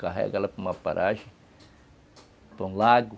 Carregá-la para uma paragem, para um lago.